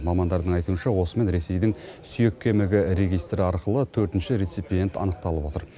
мамандардың айтуынша осымен ресейдің сүйек кемігі регистрі арқылы төртінші реципиент анықталып отыр